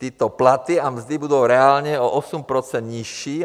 Tyto platy a mzdy budou reálně o 8 % nižší.